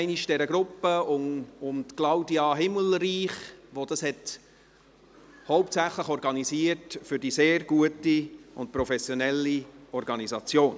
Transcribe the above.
Ich danke nochmals der Gruppe um Claudia Himmelreich, die dies hauptsächlich organisierte, für die sehr gute und professionelle Organisation.